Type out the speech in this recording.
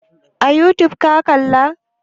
A youtube ka kalla?